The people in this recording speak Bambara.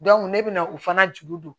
ne bɛ na o fana juru don